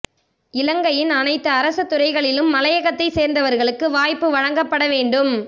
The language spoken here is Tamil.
இலங்கையின் அனைத்து அரச துறைகளிலும் மலையகத்தை சேர்ந்தவர்களுக்கு வேலைவாய்ப்பு வழங்கப்பட வேண்டும்